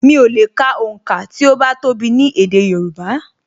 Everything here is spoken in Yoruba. Mi ò lè ka onka ti o bá tó bi ni èdè Yorùbá